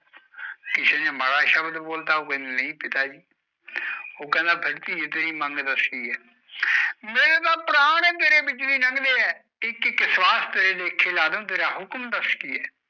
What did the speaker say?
ਮਾੜਾ ਸ਼ਬਦ ਬੋਲਤਾ ਓ ਕੈਂਦੀ ਨਹੀਂ ਪਿਤ ਜੀ ਫਰ ਤੀਏ ਤੇਰੀ ਮੰਗ ਕਿ ਆ ਮੇਰੇ ਤਾਂ ਪ੍ਰਾਣ ਬੀ ਤੇਰੇ ਵਿੱਚੋ ਲੱਗ ਦੇ ਆ ਇਕ ਇਕ ਸਵੱਛ ਤੇਰੇ ਲੇਖੇ ਲੱਡੂ ਤੇਰਾ ਹੁਖਮ ਦਾਸ ਕਿ ਆ